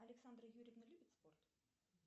александра юрьевна любит спорт